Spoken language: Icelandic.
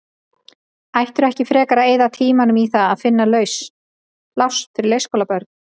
Ættirðu ekki frekar að eyða tímanum í að finna laus pláss fyrir leikskólabörn?